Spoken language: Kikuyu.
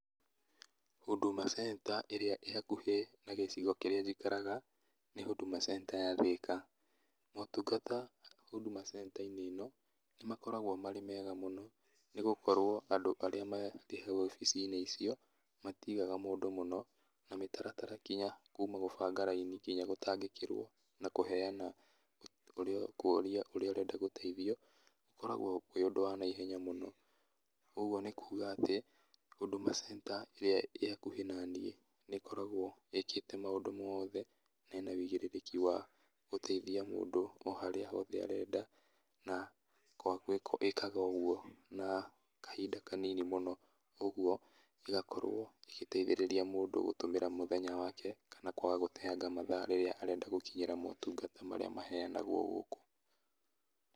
Huduma centre ĩrĩa ĩ hakuhĩ na gĩcigo kĩrĩa njikaraga, nĩ huduma centre ya thĩka, motungata huduma centre - inĩ ĩno, nĩmakoragwo me mega mũno, nĩgũkorwo andũ arĩa meho obici-inĩ icio, matigaga mũndũ mũno, na mĩtaratara nginya gũbanga raini nginya gũtangĩkĩrwo na kũheana ũrĩa ũkũrio ũrĩa ũrenda gũteithio, gũkoragwo kũrĩ ũndũ wa naihenya mũno, koguo nĩkuga atĩ, huduma centre ĩrĩa ĩkoragwo ĩ hakuhĩ naniĩ nĩkoragwo ĩkĩte maũndũ mothe, na ĩna wũigĩrĩrĩki wa gũteithia mũndũ oharĩa hothe arenda na kwa ĩkaga ũguo na kahind kanini mũno, ũguo ũgakorwo ĩgĩteithĩrĩria mũndũ gũtũmĩra mũthenya wake, kana kwaga gũteanga mathaa rĩrĩa arenda gũkinyĩra motungata marĩa maheanagwo gũkũ.